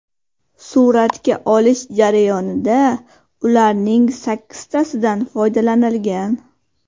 Suratga olish jarayonida ularning sakkiztasidan foydalanilgan.